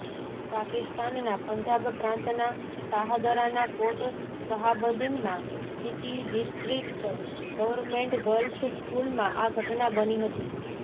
પાકિસ્તાનના પંજાબ પ્રાંતના શાહદરાના કોટ શહાબદીનમાં સિટી ડિસ્ટ્રિક્ટ ગવર્મેન્ટ ગર્લ્સ સ્કૂલમાં આ ઘટના બની હતી